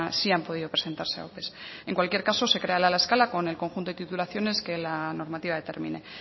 sí han podido presentarse a ope en cualquier caso se creará la escala con el conjunto de titulaciones que la normativa determine